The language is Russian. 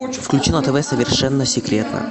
включи на тв совершенно секретно